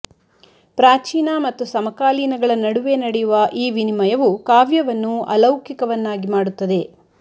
ಪ್ರಾಚೀನ ಮತ್ತು ಸಮಕಾಲೀನಗಳ ನಡುವೆ ನಡೆಯುವ ಈ ವಿನಿಮಯವು ಕಾವ್ಯವನ್ನು ಅಲೌಕಿಕವನ್ನಾಗಿ ಮಾಡುತ್ತದೆ